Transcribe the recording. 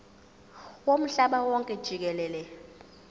womhlaba wonke jikelele